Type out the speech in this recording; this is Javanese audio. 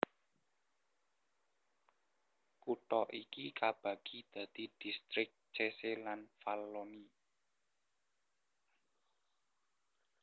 Kutha iki kabagi dadi distrik Cese lan Valloni